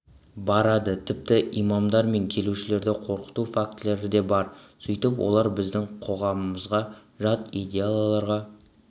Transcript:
барады тіпті имамдар мен келушілерді қорқыту фактілері де бар сөйтіп олар біздің қоғамымызға жат идеяларға